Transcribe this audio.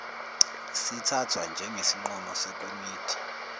sithathwa njengesinqumo sekomidi